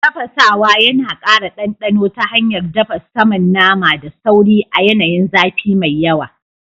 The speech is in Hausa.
Tafasawa yana kara dandano ta hanyar dafa saman naman da sauri a yanayin zafi mai yawa.